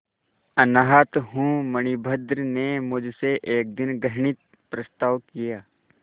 अनाथ हूँ मणिभद्र ने मुझसे एक दिन घृणित प्रस्ताव किया